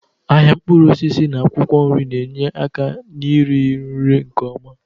Ahịa mkpụrụ osisi na akwụkwọ nri na-enye aka na-iri nri nke ọma.